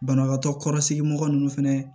Banabaatɔ kɔrɔsigi mɔgɔ ninnu fɛnɛ